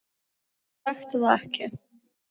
Ég þekki það ekki.